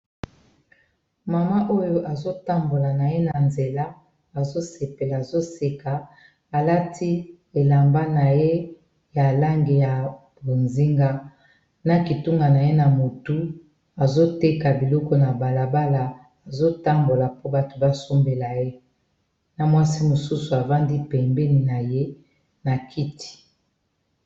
Mama oyo azo tambola na nzela, azoseka alati elamba na ye ya langi ya bozinga na kitunga na ye na motu azoteka biloko na balabala azotambola po bato basombela ye na mwasi mosusu avandi pembeni na ye na kiti.